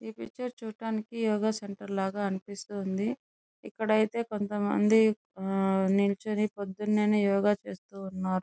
ఈ పిక్చర్ చూడటానికి యోగ సెంటర్ లాగా ఉంది ఇక్కడైతే కొంతమంది నిల్చొని పోదునే యోగ చేస్తున్నారు.